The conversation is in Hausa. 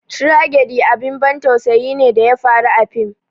"Tragedy" abin ban tausayi ne da ya faru a fim